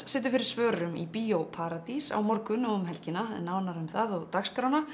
situr fyrir svörum í Bíó paradís á morgun og um helgina nánari upplýsingar um það og dagskrána